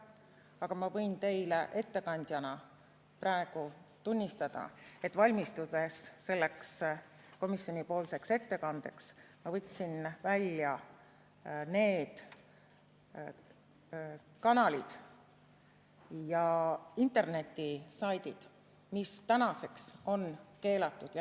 Aga ma võin teile ettekandjana praegu tunnistada, et valmistudes selleks komisjoni ettekandeks, ma võtsin välja need kanalid ja internetisaidid, mis tänaseks on keelatud.